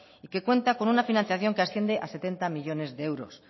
y que cuentan con una financiación que asciende a setenta millónes de euros